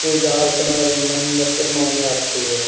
पूजा अर्चना एव मन्नते मांगने आती है।